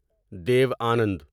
دیو آنند